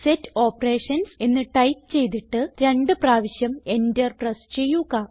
set Operations എന്ന് type ചെയ്തിട്ട് രണ്ട് പ്രാവശ്യം Enter പ്രസ് ചെയ്യുക